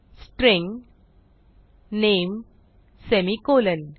string नामे semicolon